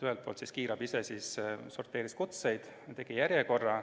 Ühelt poolt kiirabi ise sorteeris kutseid, tegi järjekorra.